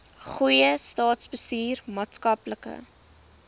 goeie staatsbestuur maatskaplike